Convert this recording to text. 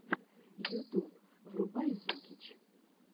ютуб врубай зукич